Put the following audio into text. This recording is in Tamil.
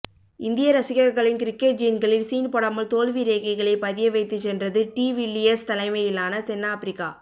இந்திய ரசிகர்களின் கிரிக்கெட் ஜீன்களில் சீன் போடாமல் தோல்வி ரேகைகளை பதிய வைத்துச் சென்றது டி வில்லியர்ஸ் தலைமையிலான தென்னாப்பிரிக்கா